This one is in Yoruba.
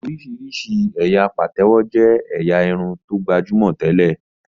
Oríṣiríṣi ẹyà Patewo jé ẹ̀yà Irun tó gbajúmọ̀ tẹlẹ.